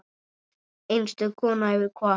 Einstök kona hefur kvatt.